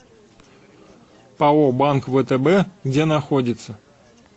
пао банк втб где находится